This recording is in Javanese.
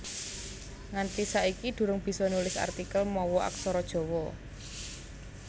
Nganti saiki durung bisa nulis artikel mawa Aksara Jawa